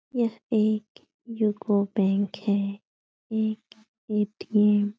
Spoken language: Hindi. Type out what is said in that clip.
यह एक यूको बैंक है। एक ए.टी.एम. --